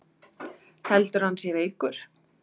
Heldurðu að hann sé veikur?